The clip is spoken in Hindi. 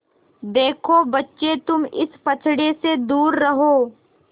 देखो बच्चे तुम इस पचड़े से दूर रहो